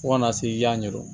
Fo kana se i y'a ɲɛdɔn